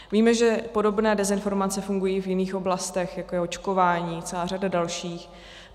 Víme, že podobné dezinformace fungují i v jiných oblastech, jako je očkování, celá řada dalších.